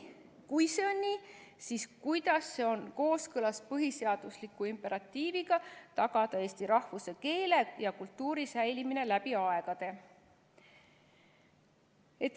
Kui see on nii, siis kuidas see on kooskõlas põhiseadusliku imperatiiviga tagada eesti rahvuse, keele ja kultuuri säilimine läbi aegade?